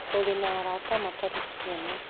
ũrĩ na arata matarĩ kĩene